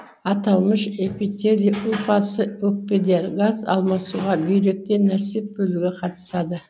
аталмыш эпителий ұлпасы өкпеде газ алмасуға бүйректе нәсип бөлуге қатысады